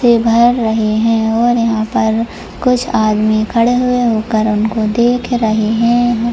से भर रहे हैं और यहां पर कुछ आदमी खड़े हुए होकर उनको देख रहे हैं।